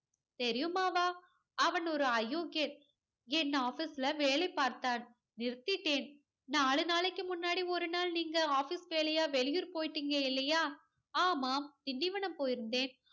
தெரியுமாவா அவன் ஒரு அயோக்கியன். என் ஆபீஸ்ல வேலை பார்த்தான். நிறுத்திட்டேன் நாலு நாளைக்கு முன்னாடி ஒரு நாள் நீங்க ஆபீஸ் வேலையா வெளிய போயிட்டீங்க இல்லையா? ஆமாம், திண்டிவனம் போயிருந்தேன்.